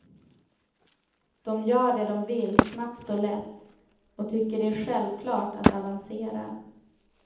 De gör det de vill snabbt och lätt och tycker det är självklart att avancera.